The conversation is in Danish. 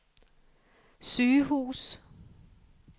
sygehus